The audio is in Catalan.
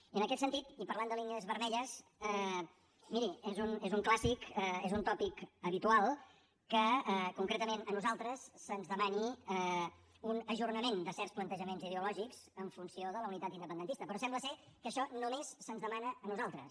i en aquest sentit i parlant de línies vermelles miri és un clàssic és un tòpic habitual que concretament a nosaltres se’ns demani un ajornament de certs plantejaments ideològics en funció de la unitat independentista però sembla ser que això només se’ns demana a nosaltres